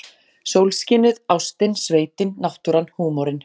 Sólskinið, ástin, sveitin, náttúran, húmorinn.